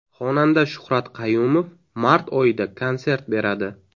Xonanda Shuhrat Qayumov mart oyida konsert beradi.